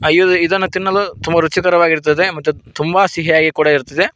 ಇದ ಇದನ್ನು ತಿನ್ನಲು ತುಂಬ ರುಚಿಕರವಾಗಿರುತ್ತದೆ ಮತ್ತೆ ತುಂಬ ಸಿಹಿಯಾಗಿ ಕೂಡ ಇರ್ತದೆ.